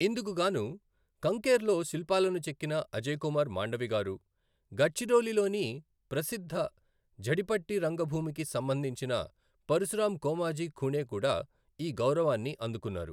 ఇందుకు గాను కంకేర్ లో శిల్పాలను చెక్కిన అజయ్ కుమార్ మాండవి గారు, గడ్చిరోలిలోని ప్రసిద్ధ ఝడిపట్టి రంగభూమికి సంబంధించిన పరశురామ్ కోమాజీ ఖుణే కూడా ఈ గౌరవాన్ని అందుకున్నారు.